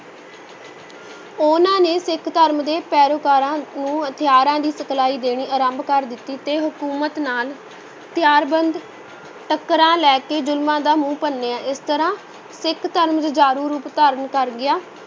ਉਹਨਾਂ ਨੇ ਸਿੱਖ ਧਰਮ ਦੇ ਪੈਰੋਕਾਰਾਂ ਨੂੰ ਹਥਿਆਰਾਂ ਦੀ ਸਿਖਲਾਈ ਦੇਣੀ ਆਰੰਭ ਕਰ ਦਿੱਤੀ ਤੇ ਹਕੂਮਤ ਨਾਲ ਹਥਿਆਰਬੰਦ ਟੱਕਰਾਂ ਲੈ ਕੇ ਜ਼ੁਲਮਾਂ ਦਾ ਮੂੰਹ ਭੰਨਿਆ, ਇਸ ਤਰ੍ਹਾਂ ਸਿੱਖ ਧਰਮ ਜੁਝਾਰੂ ਰੂਪ ਧਾਰਨ ਕਰ ਗਿਆ।